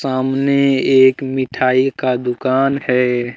सामने एक मिठाई का दुकान है।